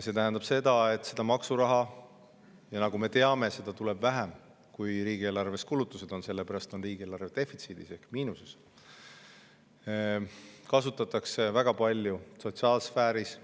See tähendab, et maksuraha – ja nagu me teame, seda tuleb vähem, kui on riigieelarves kulutused, sellepärast on riigieelarve defitsiidis ehk miinuses – kasutatakse väga palju sotsiaalsfääris,